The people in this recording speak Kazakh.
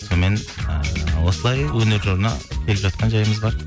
сонымен ыыы осылай өнер жолына келіп жатқан жайымыз бар